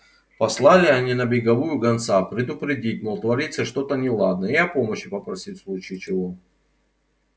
послали они на беговую гонца предупредить мол творится что-то неладное и о помощи попросить в случае чего